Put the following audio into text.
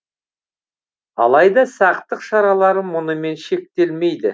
алайда сақтық шаралары мұнымен шектелмейді